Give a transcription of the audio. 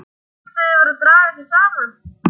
Skyldu þau vera að draga sig saman?